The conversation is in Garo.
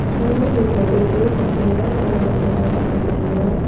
chi nitobee jokenga aro manderang bang·e roenga.